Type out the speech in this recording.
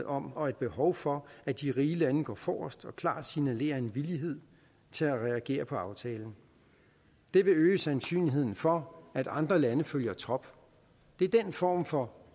om og et behov for at de rige lande går forrest og klart signalerer en villighed til at reagere på aftalen det vil øge sandsynligheden for at andre lande følger trop det er den form for